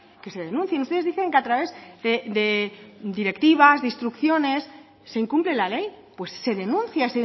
que se denuncien ustedes dicen que a través de directivas de instrucciones se incumple la ley pues se denuncia